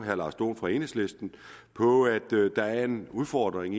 herre lars dohn fra enhedslisten på at der er en udfordring